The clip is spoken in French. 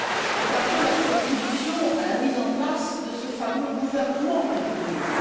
C'est un peu la contribution à la mise en place de ce fameux gouvernement économique.